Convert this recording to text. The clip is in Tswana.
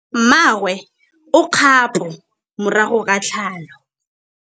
Mmagwe o kgapô morago ga tlhalô.